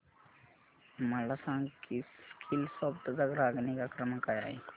मला सांग की स्कीलसॉफ्ट चा ग्राहक निगा क्रमांक काय आहे